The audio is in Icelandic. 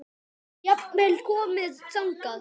Sé jafnvel komið þangað!